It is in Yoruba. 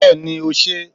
beeni o se